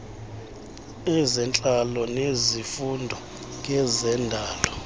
ezentlalo nezifundo ngezendalo